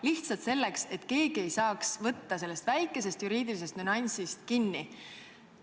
Lihtsalt selleks, et keegi ei saaks sellest väikesest juriidilisest nüansist kinni võtta.